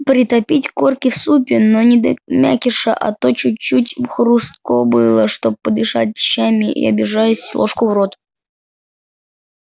притопить корки в супе но не до мякиша а то чуть-чуть им хрустко было чтоб подышать щами и обижаясь ложку в рот